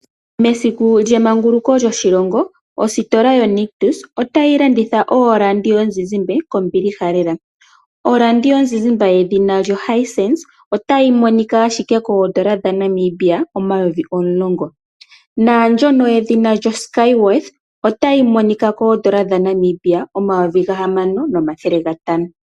Mesiku lyemanguluko lyoshilongo ositola yoNictus otayi landitha ooradio dhomuzizimba kombiliha lela. Oradio yomuzizimba yedhina Hisense otayi monika ashike kooN$ 10 000 naandjono yoedhina Skyaworth otayi monika kooN$ 6500.